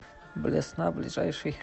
блесна ближайший